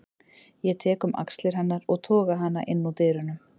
Ég tek um axlir hennar og toga hana inn úr dyrunum.